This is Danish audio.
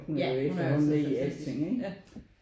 Ja hun er jo altid fantastisk ja